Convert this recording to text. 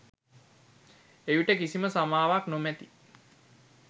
එවිට කිසිම සමාවක් නොමැති